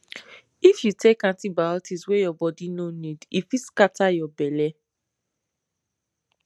if you take antibiotics wey your body no need e fit scatter your belle